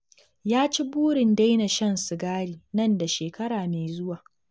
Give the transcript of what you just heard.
Ya ci burin daina shan sigari nan da shekara mai zuwa